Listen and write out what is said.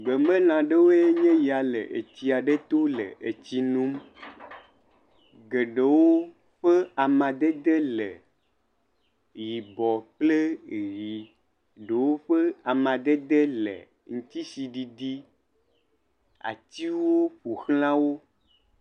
Gbemelã aɖewoe nye ya le etsi aɖe to le etsi num. geɖewo ƒe amadede le yibɔ kple ʋii. Eɖewo ƒe amadede le ŋutisiɖiɖi. Atiwo ƒo ʋlã wo.